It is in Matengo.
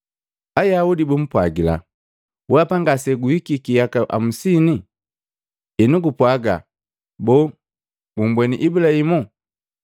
Ayaudi bumpwajila, “Weapa ngaseguhiki yaka amusini, enu gupwaga boo gumbweni Ibulahimu?”